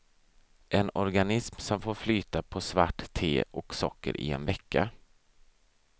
En organism som får flyta på svart te och socker i en vecka.